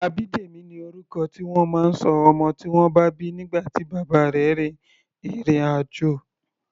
Abidemi ni orúkọ tí wọ́n máa ń ṣọ ọmọ tí wọ́n bí nígbà tí bàbá rẹ̀ rin ìrìn-àjò.